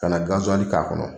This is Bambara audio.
Ka na gaziwali k'a kɔnɔ.